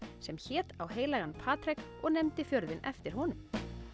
sem hét á heilagan Patrek og nefndi fjörðinn eftir honum